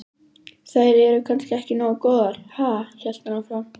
Þær eru kannski ekki nógu góðar, ha? hélt hann áfram.